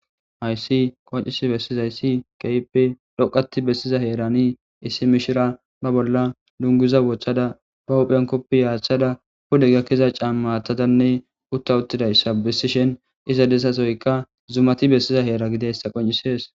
Hayssi qoncis bessizayssi keype dhoqati bessiza heerani issi mishira ba bolla lunguza wochada ba huphenkoppi yaachthada hude gakkiza cammatadanne utta uttidayssa bessishen iza dessasoyka zumati bessiza heera gideyssa qoncisees.